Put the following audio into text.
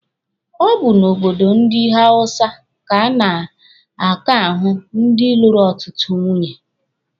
Ọ bụ n'obodo ndị hawụsa ka a na-aka ahụ ndị dị lụrụ ọtụtụ nwunye.